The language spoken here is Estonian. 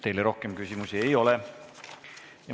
Teile rohkem küsimusi ei ole.